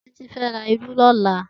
Titi fè rá ìrù lòlá